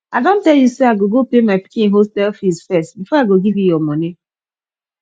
i don tell you say i go go pay my pikin hostel fees first before i go give you your money